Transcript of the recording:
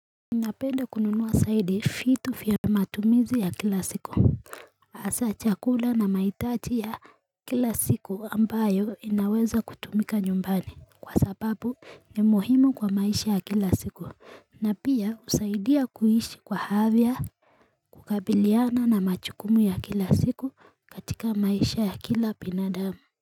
Napenda kununuwa saidi vitu vya matumizi ya kila siku. Asa chakula na mahitaji ya kila siku ambayo inaweza kutumika nyumbani kwa sababu ni muhimu kwa maisha ya kila siku na pia usaidia kuhishi kwa afya kukabiliana na majukumu ya kila siku katika maisha ya kila binadamu.